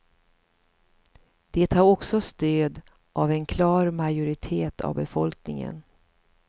Det har också stöd av en klar majoritet av befolkningen.